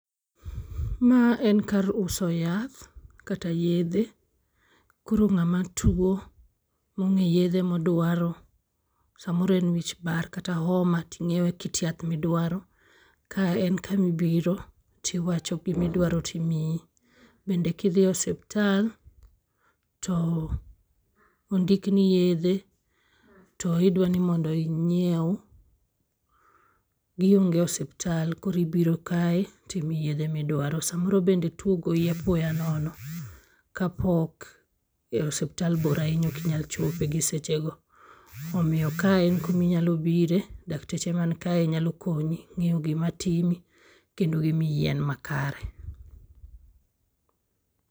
Ma en kar uso yath kata yedhe. Koro ng'ama tuo mong'e yedhe madwaro samoro en wich bar kata oma ting'iewe kit yath midwaro .Kae en kamibiro tiwacho kimidwaro timiyi. Bende kidhi e osiptal to ondikni yedhe to idwa ni inyiew gi onge osiptal koro ibiro kae timiyi yedhe midwaro. Samoro bende tuo ogoyi apoya nono kapok e osiptal bor ahinya ok inyal chopo gisechego. Omiyo ka en kaminyalo bire dakteche man kaye nyalo konyi ng'iyo gima timi kendo gimiyi yien makare.